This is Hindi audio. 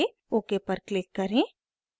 ok पर click करें